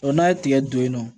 n'a ye tigɛ don yen nɔ